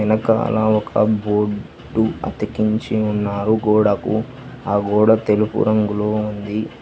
వెనకాల ఒక బోర్డు అతికించి ఉన్నారు కూడా ఆ గోడ తెలుపు రంగు ఉంది.